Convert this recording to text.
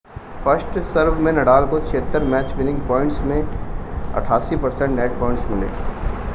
first serve में Nadal को 76 match winning points में 88% नेट पॉइंट्स मिले